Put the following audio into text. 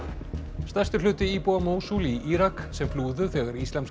stærstur hluti íbúa í Írak sem flúðu þegar Íslamska